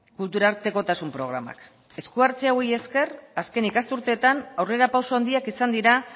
kultura artekotasun programak esku hartze hauei esker azken ikasturteetan aurrera pauso handiak izan dira